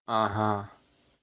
ага